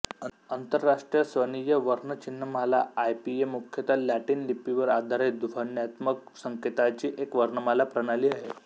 आंतरराष्ट्रीय स्वनीय वर्णचिह्नमाला आयपीए मुख्यत लॅटिन लिपीवर आधारित ध्वन्यात्मक संकेतांची एक वर्णमाला प्रणाली आहे